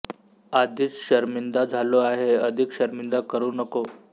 आधीच शरमिंदा झालो आहे अधिक शरमिंदा करू नको